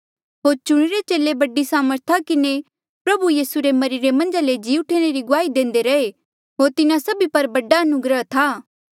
होर चुणिरे चेले बड़ी सामर्था किन्हें प्रभु यीसू रे मरिरे मन्झा ले जी उठणा री गुआही देंदे रहे होर तिन्हा सभी पर बड़ी अनुग्रह थी